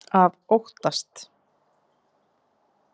Að óttast!